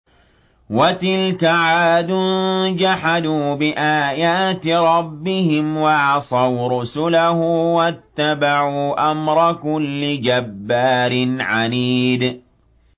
وَتِلْكَ عَادٌ ۖ جَحَدُوا بِآيَاتِ رَبِّهِمْ وَعَصَوْا رُسُلَهُ وَاتَّبَعُوا أَمْرَ كُلِّ جَبَّارٍ عَنِيدٍ